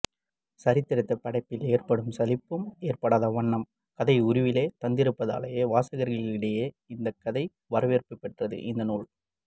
சரித்திரத்தை படிப்பதால் ஏற்படும் சலிப்பும் எற்படாத வண்ணம் கதை உருவிலே தந்திருப்பதாலேயே வாசகர்களிடையே இத்தகைய வரவேற்பை பெற்றது இந்த நூல்